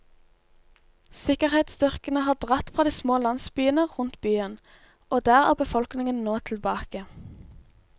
Sikkerhetsstyrkene har dratt fra de små landsbyene rundt byen, og der er befolkningen nå tilbake.